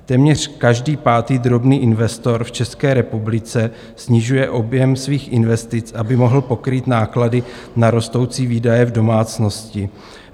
Téměř každý pátý drobný investor v České republice snižuje objem svých investic, aby mohl pokrýt náklady na rostoucí výdaje v domácnosti.